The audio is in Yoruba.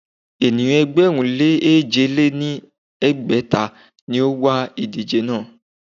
Ènìyàn ẹgbẹ̀rún lé èje lé ní ẹgbẹ́ta ni ó wa ìdíje náà.